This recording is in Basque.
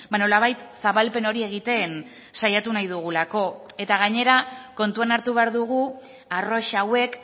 nolabait zabalpen hori egiten saiatu nahi dugulako eta gainera kontuan hartu behar dugu arrosa hauek